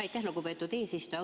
Aitäh, lugupeetud eesistuja!